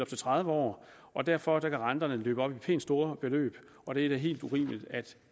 til tredive år og derfor kan renterne løbe op i pænt store beløb og det er da helt urimeligt at